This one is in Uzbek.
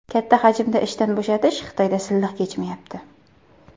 Katta hajmda ishdan bo‘shatish Xitoyda silliq kechmayapti.